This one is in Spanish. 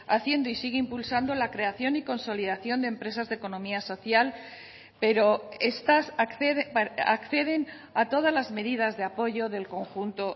haciendo y sigue impulsando la creación y consolidación de empresas de economía social pero estas acceden a todas las medidas de apoyo del conjunto